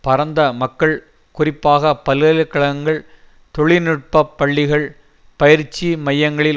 பரந்த மக்கள் குறிப்பாக பல்கலை கழகங்கள் தொழில்நுட்ப பள்ளிகள் பயிற்சி மையங்களில்